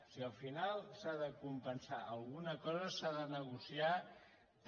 si al final s’ha de compensar alguna cosa s’ha de negociar també